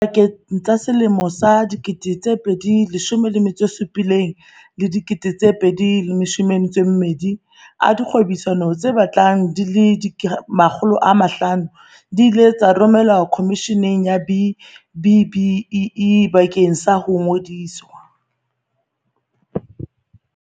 Pakeng tsa selemo sa 2017 le sa 2020, dikgwebisano tse batlang di le 500 di ile tsa romelwa Khomisheneng ya B-BBEE bakeng sa ho ngodiswa.